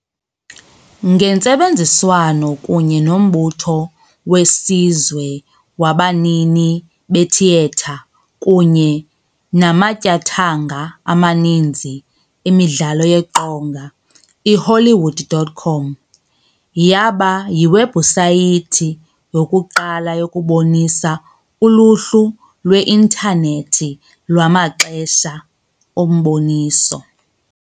Ngentsebenziswano kunye noMbutho weSizwe wabanini beThiyetha kunye namatyathanga amaninzi emidlalo yeqonga, iHollywood.com yaba yiwebhusayithi yokuqala yokubonisa uluhlu lwe-intanethi lwamaxesha omboniso